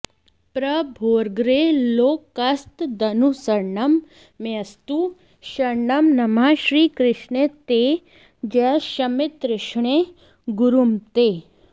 प्रभोरग्रे लोकस्तदनुसरणं मेऽस्तु शरणं नमः श्रीकृष्णे ते जय शमिततृष्णे गुरुमते